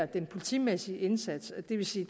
den politimæssige indsats og det vil sige